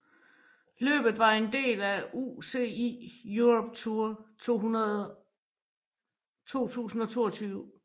Løbet var en del af UCI Europe Tour 2022